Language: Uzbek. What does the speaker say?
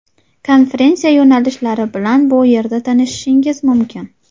Konferensiya yo‘nalishlari bilan bu yerda tanishishingiz mumkin.